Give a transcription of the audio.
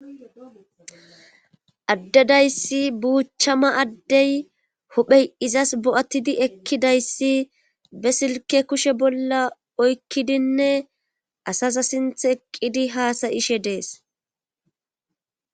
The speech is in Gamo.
Addedayssi buuchchama addey hophey izas bo7attidi ekkidayssi be silke kushe bolla oykkidinne asasa sinth eqqidi haasayishe dees.